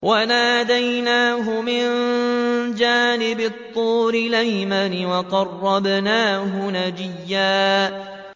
وَنَادَيْنَاهُ مِن جَانِبِ الطُّورِ الْأَيْمَنِ وَقَرَّبْنَاهُ نَجِيًّا